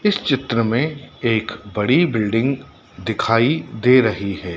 इस चित्र में एक बड़ी बिल्डिंग दिखाई दे रही है।